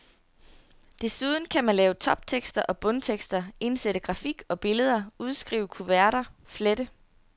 Desuden kan man lave toptekster og bundtekster, indsætte grafik og billeder, udskrive kuverter, flette.